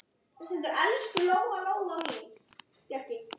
Og Bjarni svarar.